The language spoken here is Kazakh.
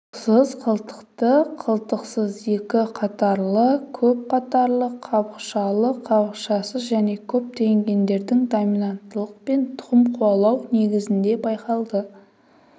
қылтықсыз қылтықты қылтықсыз екі қатарлы көп қатарлы қабықшалы қабықшасыз және көптеген гендердің доминанттылықпен тұқым қуалауы негізінде байқалды